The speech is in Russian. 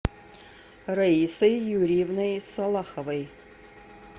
раисой юрьевной салаховой